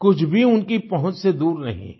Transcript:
कुछ भी उनकी पहुँच से दूर नहीं है